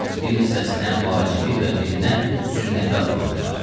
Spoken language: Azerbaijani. Bir hissəsinə vacibi və birinə sünnəti adı qoyublar.